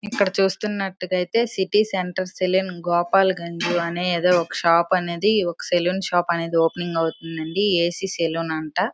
ఇక్కడ చూస్తున్నట్టుగా అయితే సిటీ సెంటర్ సెలూన్ గోపాల్ గంజానే ఏదో ఒక షాప్ అనేది ఉంది. ఒక సెలూన్ షాప్ ఓపెనింగ్ అనేది అవుతుంది ఏ.సి. సెలూన్ అంట.